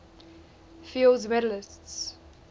fields medalists